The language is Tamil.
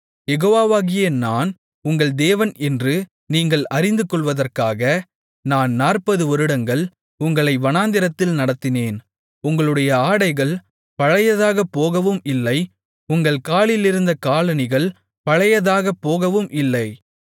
யெகோவாவாகிய நான் உங்கள் தேவன் என்று நீங்கள் அறிந்துகொள்வதற்காக நான் நாற்பது வருடங்கள் உங்களை வனாந்திரத்தில் நடத்தினேன் உங்களுடைய ஆடைகள் பழையதாகப் போகவும் இல்லை உங்கள் காலிலிருந்த காலணிகள் பழையதாகப் போகவும் இல்லை